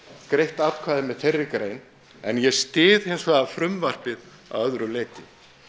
greitt atkvæði með þeirri grein en ég styð hins vegar frumvarpið að öðru leyti